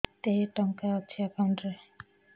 କେତେ ଟଙ୍କା ଅଛି ଏକାଉଣ୍ଟ୍ ରେ